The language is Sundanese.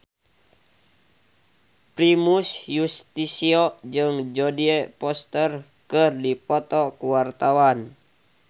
Primus Yustisio jeung Jodie Foster keur dipoto ku wartawan